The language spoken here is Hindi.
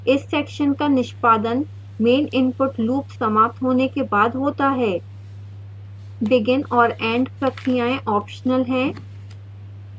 इस section का निष्पादन main input loop समाप्त होने के बाद होता है